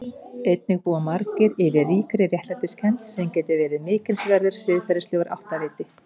Einnig búa margir yfir ríkri réttlætiskennd sem getur verið mikilsverður siðferðilegur áttaviti.